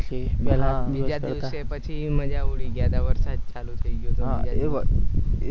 બીજા દિવસે પછી ની મજા ઉડી ગયા હતા વરસાદ ચાલુ થઈ ગયો હતો